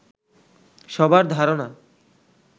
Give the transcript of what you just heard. সবার ধারণা